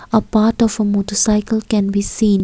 a part of a motorcycle can be seen.